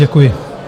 Děkuji.